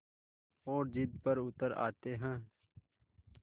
और ज़िद पर उतर आते हैं